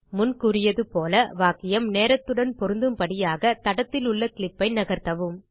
முன் கூறியது போல் வாக்கியம் நேரத்துடன் பொருந்தும்படியாகத் தடத்திலுள்ள கிளிப் ஐ நகர்த்தவும்